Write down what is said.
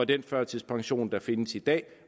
den førtidspension der findes i dag